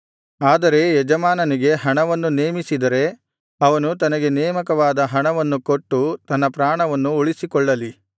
ಆದರೆ ಯಜಮಾನನಿಗೆ ಹಣವನ್ನು ನೇಮಿಸಿದರೆ ಅವನು ತನಗೆ ನೇಮಕವಾದ ಹಣವನ್ನು ಕೊಟ್ಟು ತನ್ನ ಪ್ರಾಣವನ್ನು ಉಳಿಸಿಕೊಳ್ಳಲಿ